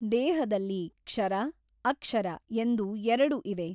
ದೇಹದಲ್ಲಿ ಕ್ಷರ ಅಕ್ಷರ ಎಂದು ಎರಡು ಇವೆ.